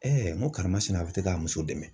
n ko karamasina bɛ to k'a muso dɛmɛ.